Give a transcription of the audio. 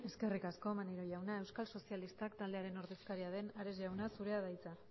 eskerrik asko maneiro jauna euskal sozialistak taldearen ordezkaria den ares jauna zurea da hitza